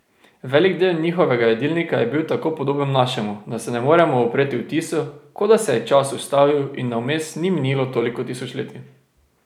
Velik del njihovega jedilnika je bil tako podoben našemu, da se ne moremo upreti vtisu, kot da se je čas ustavil in da vmes ni minilo toliko tisočletij ...